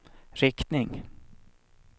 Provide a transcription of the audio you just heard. riktning